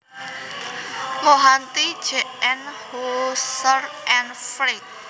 Mohanty J N Husserl and Frege